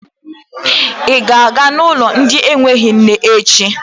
Ị ga-aga n'ụlọ ndị enweghị nne echi?